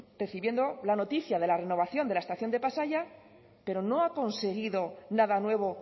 recibiendo la noticia de la renovación de la estación de pasaia pero no ha conseguido nada nuevo